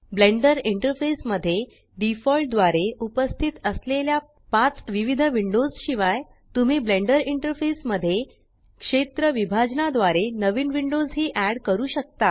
blender interface मध्ये default द्वारे उपस्थित असलेल्या पाच विविध विंडोज शिवाय तुम्ही ब्लेंडर इंटरफेस मध्ये क्षेत्र विभाजना द्वारे नवीन विंडोज ही एड करू शकता